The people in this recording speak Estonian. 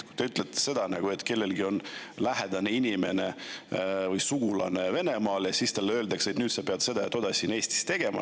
Esiteks, te ütlete seda, et kellelgi võib olla lähedane inimene või sugulane Venemaal ja siis talle öeldakse, et nüüd ta peab tegema seda ja toda siin Eestis.